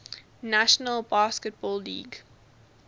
national basketball league